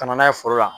Ka na n'a ye foro la